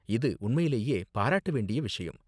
இது உண்மையிலேயே பாராட்ட வேண்டிய விஷயம்.